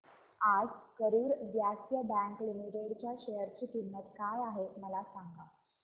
आज Karur Vysya Bank Limited च्या share ची किंमत काय आहे मला सांगा